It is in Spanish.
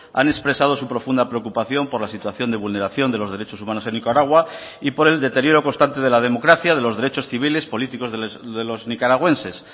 han expresado su profunda preocupación por la situación de vulneración de los derechos humanos en nicaragua y por el deterioro constante de la democracia de los derechos civiles políticos de los nicaragüenses